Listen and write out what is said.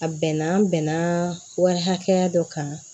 A bɛnna an bɛnna wari hakɛya dɔ kan